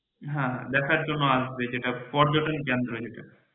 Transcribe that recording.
হ্যাঁ দেখার জন্য আসবে যেটা পর্যটন কেন্দ্র হিসেবে